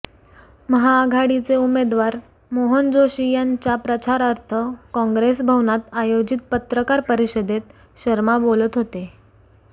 महाआघाडीचे उमेदवार मोहन जोशी यांच्या प्रचारार्थ कॉंग्रेस भवनात आयोजित पत्रकार परिषदेत शर्मा बोलत होते